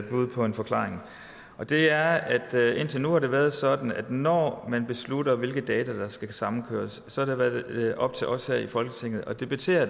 bud på en forklaring på det er at indtil nu har det været sådan at når man beslutter hvilke data der skal samkøres så har det været op til os her i folketinget at debattere